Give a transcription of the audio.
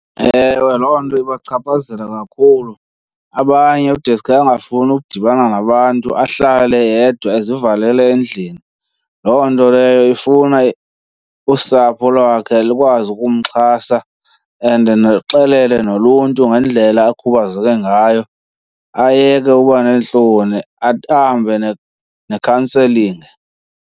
Ewe, loo nto ibachaphazela kakhulu abanye kudeske angafuni ukudibana nabantu ahlale yedwa ezivalele endlini. Loo nto leyo ifuna usapho lwakhe lukwazi ukumxhasa and niluxelele noluntu ngendlela akhubazeke ngayo ayeke uba neentloni, ahambe ne-counseling.